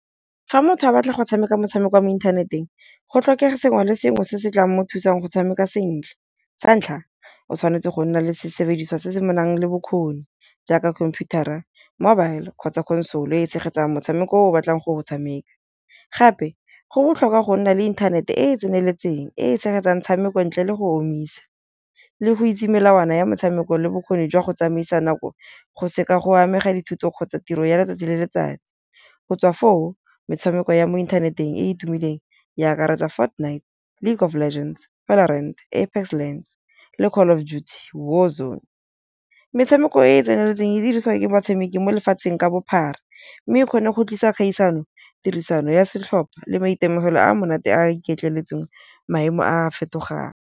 Fa motho a batla go tshameka motshameko wa mo inthaneteng go tlhokega sengwe le sengwe se se tlang mo thusang go tshameka sentle, sa ntlha o tshwanetse go nna le sesebediswa se se nang le bokgoni jaaka computer-ra, mobile kgotsa console e e tshegetsang motshameko o o batlang go go tshameka. Gape go botlhokwa go nna le inthanete e e tseneletseng e e tshegetsang tshameko ntle le go omisa le go itse melawana ya metshameko le bokgoni jwa go tsamaisa nako go se ka go amega dithuto kgotsa tiro ya letsatsi le letsatsi, go tswa foo metshameko ya mo inthaneteng e e tumileng e a akaretsa Fortnite, League of Legends, Valorant, Apex lLgends le Call of Duty War Zone. Metshameko e e tseneletseng e dirisiwa ke batshameki mo lefatsheng ka bophara, mme e kgona go tlisa kgaisano, tirisano ya setlhopha le maitemogelo a monate a iketleletseng maemo a fetogang.